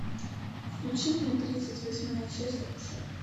включи мне тридцать восьмая часть акушера